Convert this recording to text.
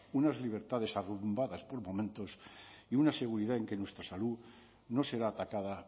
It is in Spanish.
unas libertades arrumbadas por momentos y una seguridad en que nuestra salud no será atacada